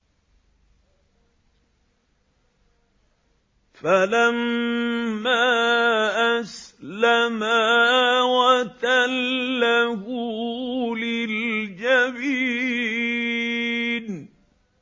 فَلَمَّا أَسْلَمَا وَتَلَّهُ لِلْجَبِينِ